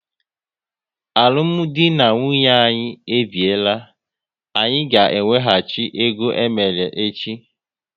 Alụmdi na nwunye anyị e biela, anyị ga ewehachi ego emere echi!